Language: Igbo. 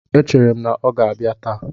E chere m na ọ ga-abịa taa.